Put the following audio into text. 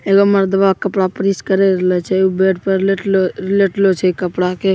एगो मरदवा कपड़ा प्रैस करे रहल छे उ बेड पे लेटले लेटलों छे कपड़ा के--